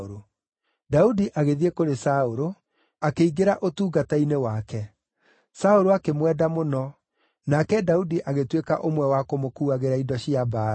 Daudi agĩthiĩ kũrĩ Saũlũ, akĩingĩra ũtungata-inĩ wake. Saũlũ akĩmwenda mũno, nake Daudi agĩtuĩka ũmwe wa kũmũkuagĩra indo cia mbaara.